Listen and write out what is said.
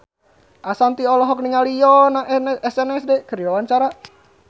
Ashanti olohok ningali Yoona SNSD keur diwawancara